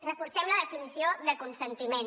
reforcem la definició de consentiment